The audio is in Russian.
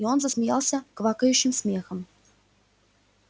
и он засмеялся квакающим смехом